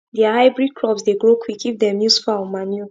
their hybrid crops dey grow quick if dem use fowl manure